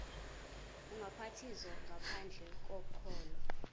ubhaptizo ngaphandle kokholo